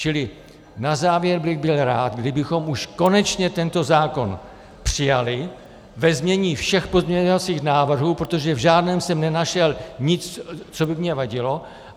Čili na závěr bych byl rád, kdybychom už konečně tento zákon přijali ve znění všech pozměňovacích návrhů, protože v žádném jsem nenašel nic, co by mně vadilo.